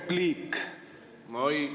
Mul on repliik.